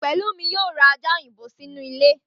Pẹ̀lúmi yóò ra ajá òyìnbó sínú ilé rẹ̀